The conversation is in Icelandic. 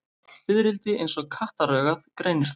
Fiðrildi eins og kattaraugað greinir það.